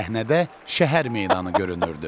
Səhnədə şəhər meydanı görünürdü.